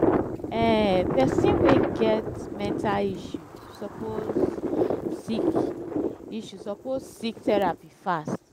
um pesin wey get mental health issue suppose seek issue suppose seek therapy fast.